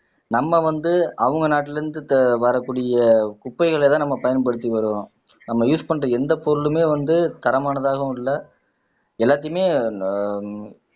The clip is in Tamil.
நம்ம வந்து அவங்க நாட்டுல இருந்து ஆஹ் வரக்கூடிய குப்பைகளைதான் நம்ம பயன்படுத்தி வர்றோம் நம்ம யூஸ் பண்ற எந்த பொருளுமே வந்து தரமானதாகவும் இல்லை எல்லாத்தையுமே ஆஹ்